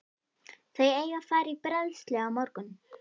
Þau eiga að fara í bræðslu á morgun.